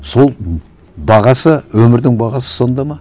сол бағасы өмірдің бағасы сонда ма